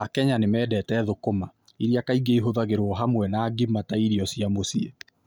Akenya nĩ mendete sukuma wiki (collard greens), ĩrĩa kaingĩ ĩhũthagĩrũo hamwe na ugali ta irio cia mũciĩ.